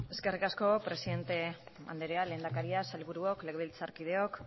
eskerrik asko presidente anderea lehendakaria sailburuok legebiltzarkideok